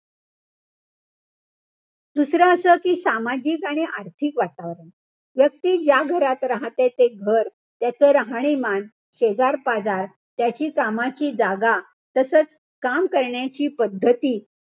दुसरं असं कि सामाजिक आणि आर्थिक वातावरण. व्यक्ती ज्या घरात राहते ते घर, त्याच राहणीमान, शेजारीपाजार, त्याची कामाची जागा, तसंच काम करण्याची पद्धती,